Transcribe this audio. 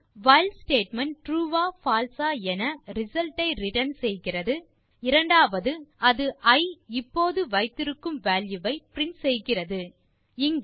ஒன்று while statement true ஆ false ஆ என ரிசல்ட் ஐ ரிட்டர்ன் செய்கிறது மற்றும் இரண்டாவது அது இ இப்போது வைத்திருக்கும் வால்யூ ஐ பிரின்ட் செய்கிறது